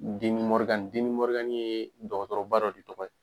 ye dɔgɔtɔrɔba dɔ de tɔgɔ ye